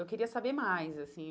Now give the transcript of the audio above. Eu queria saber mais, assim.